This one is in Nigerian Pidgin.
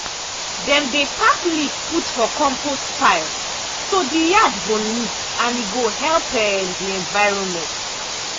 dem dey pack leaf put for compost pile so the yard yard go neat and e go help um the environment.